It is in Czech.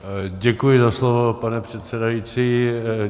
Děkuji za slovo, pane předsedající.